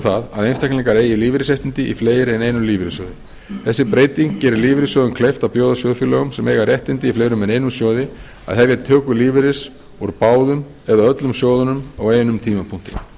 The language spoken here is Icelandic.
um að einstaklingar eigi lífeyrisréttindi í fleiri en einum lífeyrissjóði þessi breyting gerir lífeyrissjóðum kleift að bjóða sjóðfélögum sem eiga réttindi í fleiri en einum sjóði að hefja töku lífeyris úr báðum eða öllum sjóðunum á einum tímapunkti